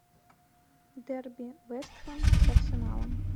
дерби вест хэм с арсеналом